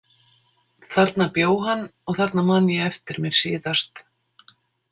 Þarna bjó hann og þarna man ég eftir mér síðast.